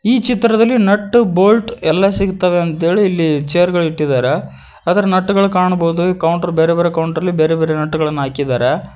ಈ ಚಿತ್ರದಲ್ಲಿ nut bolt ಎಲ್ಲಾ ಸಿಗತಾವೆ ಅಂತ ಹೇಳಿ ಇಲ್ಲಿ ಚೇರ್ ಗಳ ಇಟ್ಟಿದಾರ ಅದರ ನಟ್ ಗಳ ಕಾಣಬೊದ ಕೌಂಟರ್ ಬೇರೆ ಬೇರೆ ಕೌಂಟರ್ ಲಿ ಬೇರೆ ಬೇರೆ ನಟ್ ಗಳನ ಹಾಕಿದಾರ.